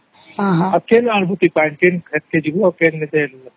ହଁ ଆଉ କେନଥି ଆଣିବା ପାଣି କେ ଆଡେ ଯିବା